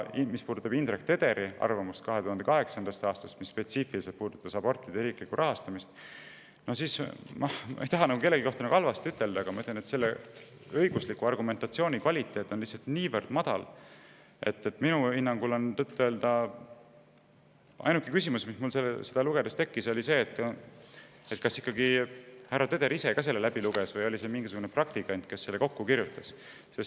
Mis puudutab Indrek Tederi arvamust 2008. aastast, mis spetsiifiliselt puudutas abortide riiklikku rahastamist, siis ma ütlen – ma ei taha kellegi kohta halvasti öelda, aga siiski ütlen –, et selle õigusliku argumentatsiooni kvaliteet on lihtsalt niivõrd, et tõtt-öelda tekkis mul seda lugedes küsimus, kas härra Teder ikka ise ka selle läbi luges või oli see mingisugune praktikant, kes selle kokku kirjutas.